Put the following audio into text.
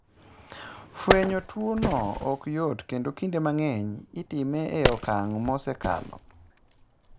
Fwenyo tuwono ok yot kendo kinde mang'eny itime e okang' mosekalo.